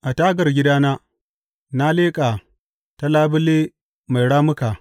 A tagar gidana na leƙa ta labule mai rammuka.